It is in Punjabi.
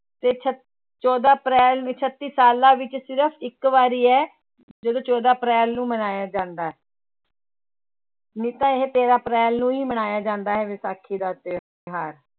ਤੇ ਛ ਚੌਦਾਂ ਅਪ੍ਰੈਲ ਵੀ ਛੱਤੀ ਸਾਲਾਂ ਵਿੱਚ ਸਿਰਫ਼ ਇੱਕ ਵਾਰੀ ਹੈ ਜਦੋਂ ਚੌਦਾਂ ਅਪ੍ਰੈਲ ਨੂੰ ਮਨਾਇਆ ਜਾਂਦਾ ਹੈ ਨਹੀਂ ਤਾਂ ਇਹ ਤੇਰਾਂ ਅਪ੍ਰੈਲ ਨੂੰ ਹੀ ਮਨਾਇਆ ਜਾਂਦਾ ਹੈ ਵਿਸਾਖੀ ਦਾ ਤਿਉਹਾਰ।